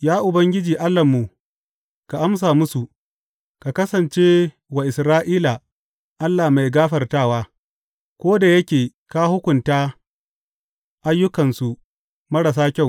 Ya Ubangiji Allahnmu, ka amsa musu; ka kasance wa Isra’ila Allah mai gafartawa, ko da yake ka hukunta ayyukansu marasa kyau.